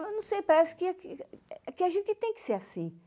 Ah não sei, parece que aqui que a gente tem que ser assim